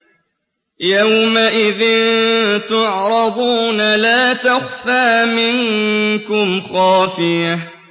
يَوْمَئِذٍ تُعْرَضُونَ لَا تَخْفَىٰ مِنكُمْ خَافِيَةٌ